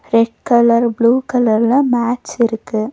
Red colour blue கலர்ல மேட்ஸுருக்கு .